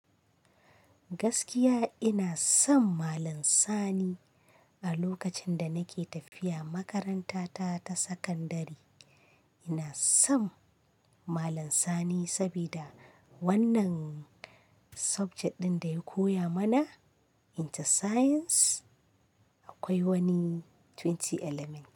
Gaskiya ina son Malam Sani a lokacin da nake tafiya makaranta ta ta sakandari. Na son malam sani saboda wannan subject ɗin da ya koya mana, inter science akwai wani twenty elements.